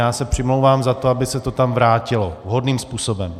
Já se přimlouvám za to, aby se to tam vrátilo vhodným způsobem.